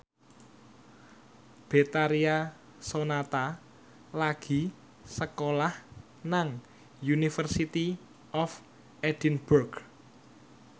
Betharia Sonata lagi sekolah nang University of Edinburgh